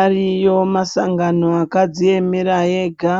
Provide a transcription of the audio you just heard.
Ariyo masangano akadziemera ega